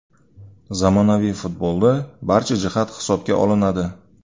Zamonaviy futbolda barcha jihat hisobga olinadi.